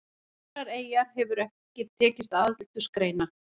Aðrar eyjar hefur ekki tekist að aldursgreina.